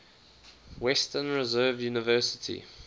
western reserve university